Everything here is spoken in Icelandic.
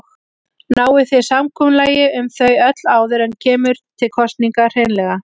Náið þið samkomulagi um þau öll áður en kemur til kosninga hreinlega?